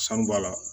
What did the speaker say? Sanu bɔ a la